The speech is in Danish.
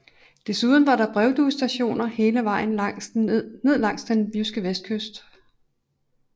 Desuden var der brevduestationer hele vejen ned langs den jyske vestkyst